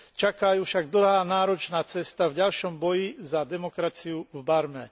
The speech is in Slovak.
Čaká ju však dlhá, náročná cesta v ďalšom boji za demokraciu v Barme.